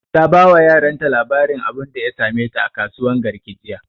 Ta ba wa yaran ta labarin abunda ya same ta a kasuwan garki jiya